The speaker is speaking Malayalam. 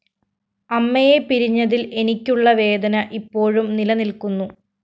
അമ്മയെ പിരിഞ്ഞതില്‍ എനിക്കുള്ള വേദന ഇപ്പോഴും നിലനില്‍ക്കുന്നു